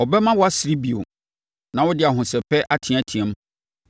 Ɔbɛma woasere bio, na wode ahosɛpɛ ateateam.